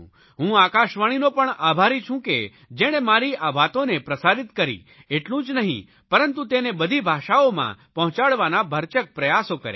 હું આકાશવાણીનો પણ આભારી છું કે જેણે મારી આ વાતોને પ્રસારિત કરી એટલું જ નહીં પરંતુ તેને બધી ભાષાઓમાં પહોંચાડવાના ભરચક પ્રયાસો કર્યાં